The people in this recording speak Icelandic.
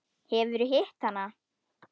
Hefurðu hitt hana?